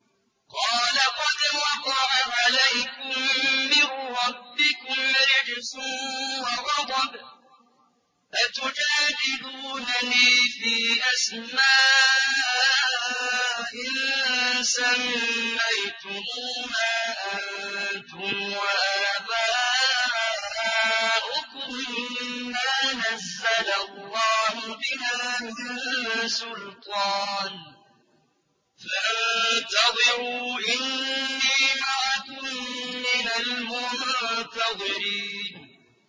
قَالَ قَدْ وَقَعَ عَلَيْكُم مِّن رَّبِّكُمْ رِجْسٌ وَغَضَبٌ ۖ أَتُجَادِلُونَنِي فِي أَسْمَاءٍ سَمَّيْتُمُوهَا أَنتُمْ وَآبَاؤُكُم مَّا نَزَّلَ اللَّهُ بِهَا مِن سُلْطَانٍ ۚ فَانتَظِرُوا إِنِّي مَعَكُم مِّنَ الْمُنتَظِرِينَ